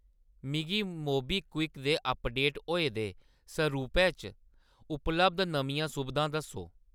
मिगी मोबीक्विक दे अपडेट होए दे सरूपै च उपलब्ध नमियां सुबधां दस्सो !